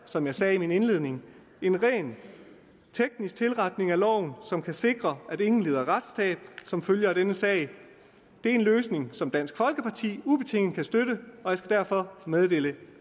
som jeg sagde i min indledning en rent teknisk tilretning af loven som kan sikre at ingen lider retstab som følge af denne sag det er en løsning som dansk folkeparti ubetinget kan støtte og jeg skal derfor meddele